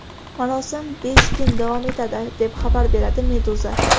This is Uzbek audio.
Marosim besh kun davom etadi, deb xabar beradi Meduza.